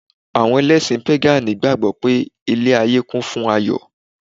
Àwọn Ẹlẹ́sìn pégànì gbàgbọ́ pé ilé-ayé kún fún Ayọ̀